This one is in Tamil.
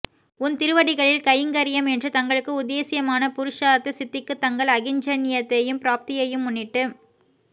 உன் திருவடிகளில் கைங்கர்யம் என்று தங்களுக்கு உத்தேச்யமான புருஷார்த்த சித்திக்கு தங்கள் அகிஞ்சன்யத்தையும் ப்ராப்தியையும் முன்னிட்டு